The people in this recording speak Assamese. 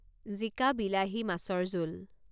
জিকা বিলাহী মাছৰ জোল